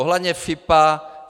Ohledně FIPO.